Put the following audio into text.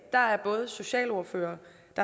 der er både socialordførere